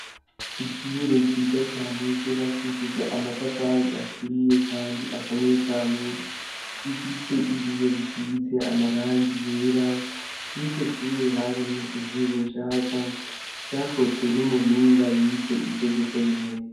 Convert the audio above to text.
Ishure ryiza cane ryo bakishivo amatafali aturiye, kandi akomeye cane bifise ibiyo bisize amarangi yera n'iro shure harimo intebe nshasha zakozwe n'umuhinga yize ivyo gukora intebe.